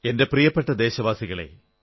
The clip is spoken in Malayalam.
എന്റെ പ്രിയപ്പെട്ട ദേശവാസികളേ